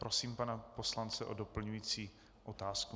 Prosím pana poslance o doplňující otázku.